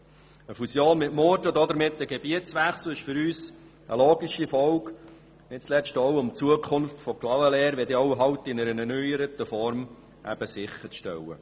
Eine Fusion mit Murten und damit ein Gebietswechsel ist für uns eine logische Folge, um die Zukunft von Clavaleyres in einer erneuerten Form sicherzustellen.